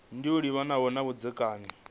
ndi yo livhanaho na vhudzekani